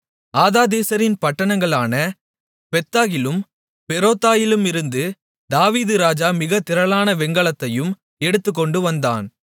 ஆதாதேசரின் பட்டணங்களான பேத்தாகிலும் பேரொத்தாயிலுமிருந்து தாவீது ராஜா மிகத் திரளான வெண்கலத்தையும் எடுத்துக்கொண்டுவந்தான்